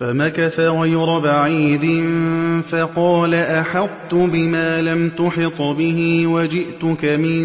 فَمَكَثَ غَيْرَ بَعِيدٍ فَقَالَ أَحَطتُ بِمَا لَمْ تُحِطْ بِهِ وَجِئْتُكَ مِن